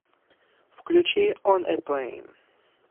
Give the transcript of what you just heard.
включи он э плэйн